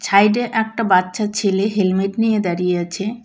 ছাইডে একটা বাচ্চা ছেলে হেলমেট নিয়ে দাঁড়িয়ে আছে।